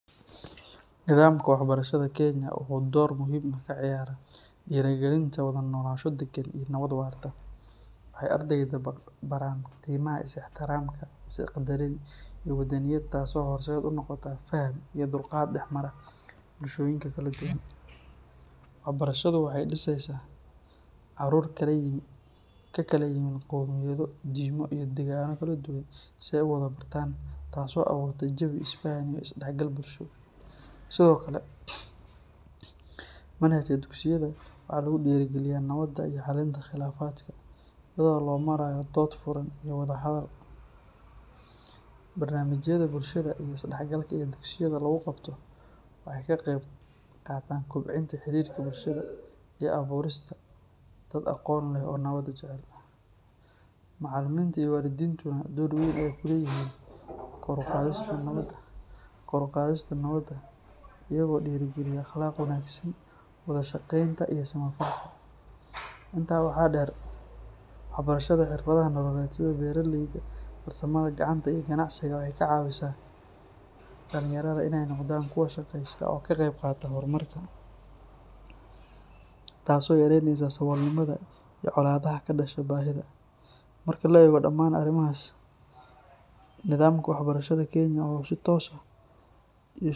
Nidaamka waxbarashada Kenya wuxuu door muhiim ah ka ciyaaraa dhiirrigelinta wada noolaansho degan iyo nabad waarta. Waxay ardayda baraan qiimaha is-ixtiraamka, is-qadarin iyo wadaniyadda taasoo horseed u noqota faham iyo dulqaad dhexmara bulshooyinka kala duwan. Waxbarashadu waxay mideysaa caruur ka kala yimid qowmiyado, diimo iyo deegaano kala duwan si ay u wada bartaan, taasoo abuurta jawi is-faham iyo is-dhexgal bulsho. Sidoo kale, manhajka dugsiyada waxaa lagu dhiirrigeliyaa nabadda iyo xallinta khilaafaadka iyadoo loo marayo dood furan iyo wada hadal. Barnaamijyada bulshada iyo is dhexgalka ee dugsiyada lagu qabto waxay ka qeyb qaataan kobcinta xiriirka bulshada iyo abuurista dad aqoon leh oo nabadda jecel. Macallimiinta iyo waalidiintuna door weyn ayay ku leeyihiin kor u qaadista nabadda iyagoo dhiirrigeliya akhlaaqda wanaagsan, wada shaqeynta iyo samafalka. Intaa waxaa dheer, waxbarashada xirfadaha nololeed sida beeraleyda, farsamada gacanta iyo ganacsiga waxay ka caawisaa dhalinyarada inay noqdaan kuwo shaqaysta oo ka qayb qaata horumarka, taasoo yareyneysa saboolnimada iyo colaadaha ka dhasha baahida. Marka la eego dhamaan arrimahaas, nidaamka waxbarashada Kenya wuxuu si toos ah.